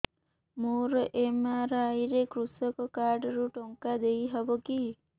ମୋର ଏମ.ଆର.ଆଇ ରେ କୃଷକ କାର୍ଡ ରୁ ଟଙ୍କା ଦେଇ ହବ କି